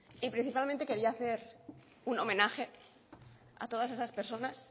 y principalmente quería hacer un homenaje a todas esas personas